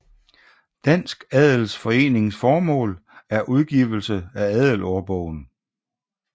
Dansk Adels Forenings hovedformål er udgivelse af adelsårbogen